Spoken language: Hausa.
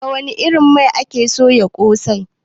Da wani irin mai ake soya kose?